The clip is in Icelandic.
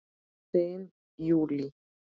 Þín Júlí.